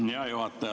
Hea juhataja!